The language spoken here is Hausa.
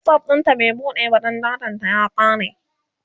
WhatsApp ɗinta bai buɗe ba Dan datan ta ya kare